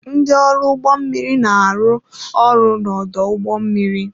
Ndị ọrụ ụgbọ mmiri na-arụ ọrụ n'ọdụ ụgbọ mmiri.